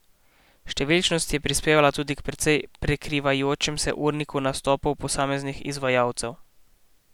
Številčnost je prispevala tudi k precej prekrivajočem se urniku nastopov posameznih izvajalcev.